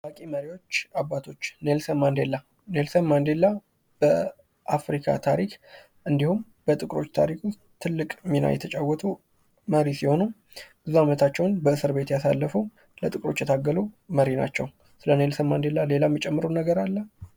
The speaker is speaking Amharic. ታዋቂ መሪዎችና አባቶች ሌንሰን ማንዴላ በአፍሪካ ታሪክ እንዲሁም ጥቁሮች ታሪክ ትልቅ የተጫወቱ መሪ ሲሆን ብዙ ዓመታቸውን በእስር ቤት ያሳለፉ ለጥቁሮች የታገሉ መሪ ናቸው። ስለ ሌንሰን ማንዴላ ሌላ የሚጨምሩት ነገር አለ?